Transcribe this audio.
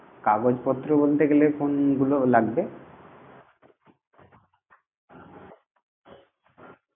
কাগজপত্র বলতে গেলে কোনগুলো লাগবে?